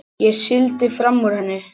Sigldi fram úr henni.